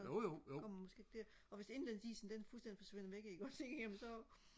kommer man måske ikke der og hvis indlandsisen den fuldstændig forsvinder væk ikke også ikke jamen så